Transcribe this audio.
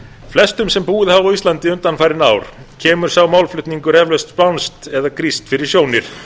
flestum þeim sem búið hafa á íslandi undanfarin ár kemur sá málflutningur eflaust spánskt eða grískt fyrir sjónir